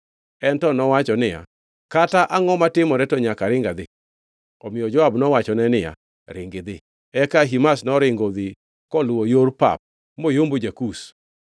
En to nowacho niya, “Kata angʼo matimore, to nyaka aring adhi.” Omiyo Joab nowachone niya, “Ringi idhi.” Eka Ahimaz noringo odhi koluwo yor pap moyombo ja-Kush.